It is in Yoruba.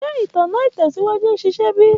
Ṣe itanna itẹsiwaju n ṣiṣẹ bi?